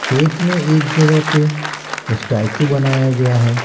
खेत में एक जगह पे स्टैचू बनाया गया है।